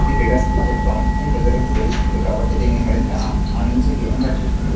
ఇది క్రీడాస్పూర్తి యొక్క ప్రాముక్యతను ప్రజలకు బోధిస్తుంది కాబట్టి దీనిని మరింత ఆడించే గేమ్ లా చేస్తుంది.